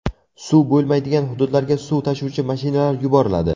Suv bo‘lmaydigan hududlarga suv tashuvchi mashinalar yuboriladi.